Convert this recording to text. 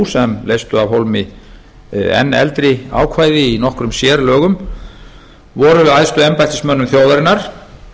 sem leystu af hólmi enn eldri ákvæði í nokkrum sérlögum voru æðstu embættismönnum þjóðarinnar